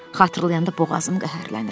Xatırlayanda boğazım qəhərlənir.